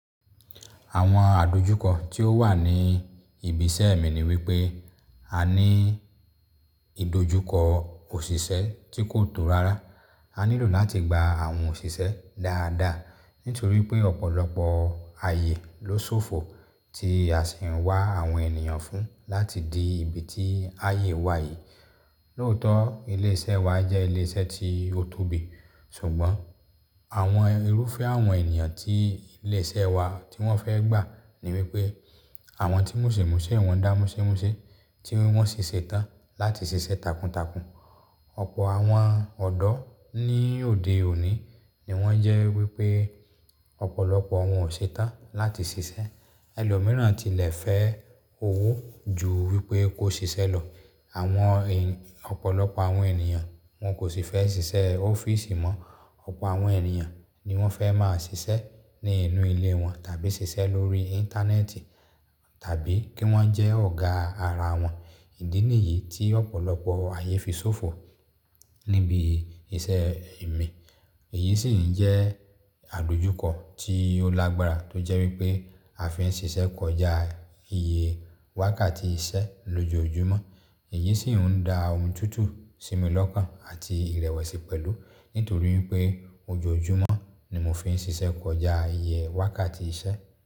Àwọn àdojúkọ tí ó wà ní ibi iṣẹ́ mi ni wípé a ní ìdojúkọ òṣìṣẹ́ tí kò tó rárá. A nílò láti gba àwọn òṣìṣẹ́ dáadáa nítorí pé ọ̀pọ̀lọpọ̀ ayé ló ṣòfò tí a sì ń wá àwọn ènìyàn fún láti di ibi tí ayé wà yìí. Lóótọ́, ilé iṣẹ́ wa jẹ́ ilé iṣẹ́ tí ó tóbi ṣùgbọ́n àwọn irúfẹ́ àwọn ènìyàn tí ilé iṣẹ́ wa tí wọ́n fẹ́ gbà ni wípé àwọn tí múṣemúṣé wọn dá múṣémúṣe, tí wọ́n si ṣe ṣetán láti ṣiṣẹ́ takuntakun. Ọ̀pọ̀ àwọn ọ̀dọ́ ní òde òní ni wọ́n jẹ́ wípé ọ̀pọ̀lọpọ̀ wọ́n ò ṣetán láti ṣiṣẹ́. Ẹlòmíràn tilẹ̀ fẹ́ owó ju wípé kó ṣiṣẹ́ lọ. Àwọn ọ̀pọ̀lọpọ̀ àwọn ènìyàn wọn kò sì fẹ́ ṣiṣẹ́ ọ́fíìsì mọ́. Ọ̀pọ̀ àwọn ènìyàn ni wọ́n fẹ́ máa ṣiṣẹ́ ní inú ilé wọn tàbí ṣiṣẹ́ lórí Íńtánẹ́ẹ̀tì tàbí kí wọ́n jẹ́ ọ̀gá ara wọn. Ìdí nìyí tí ọ̀pọ̀lọpọ̀ aayé fi ṣòfò níbi iṣẹ́ mi. Èyí sì ń jẹ́ àdojúkọ tí ó lágbára tó jẹ́ wípé a fi ń ṣiṣẹ́ kọjá iye wákàtí iṣẹ́ lójoojúmọ́. Èyí sì ń dá omi tútù sí mi lọ́kàn àti ìrẹ̀wẹ̀sì pẹ̀lú nítorí wipé ojoojúmọ́ ni mo fi ń ṣiṣẹ́ kọjá iye wákàtí iṣẹ́.